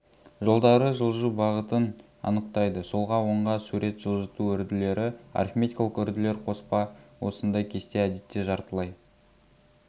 жолдары жылжу бағытын анықтайды солға оңға сурет жылжыту үрділері арифметикалық үрділер қоспа осындай кесте әдетте жартылай